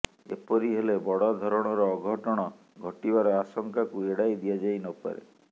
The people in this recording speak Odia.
ଏପରି ହେଲେ ବଡ଼ଧରଣର ଅଘଟଣ ଘଟିବାର ଆଶଙ୍କାକୁ ଏଡ଼ାଇ ଦିଆଯାଇ ନପାରେ